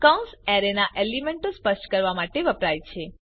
કૌંસ એરે ના એલીમેન્ટો સ્પષ્ટ કરવા માટે વપરાય છે